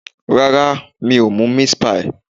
Rárá, mi o mú meat pie.